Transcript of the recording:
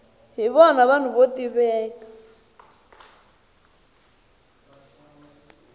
hi vona vanhu vo tiveka